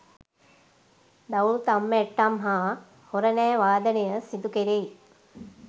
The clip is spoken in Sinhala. දවුල්, තම්මැට්ටම් හා හොරණෑ වාදනය සිදුකෙරෙයි.